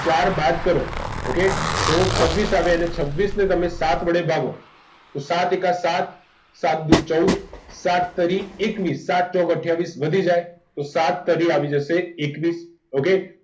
તો છવીસ આવે અને છવીસ ને સાત વડે ભાગો તો સાત એક સાત દૂ ચૌદ સાત તરી એકવીસ સાત ચોક અથિયાવિસ વધી જય તો સાત તરી આવી જસે okay